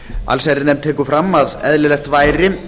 allsherjarnefnd tekur fram að eðlilegt væri